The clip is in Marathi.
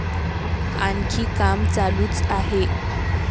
आणखी काम चालूच आहे.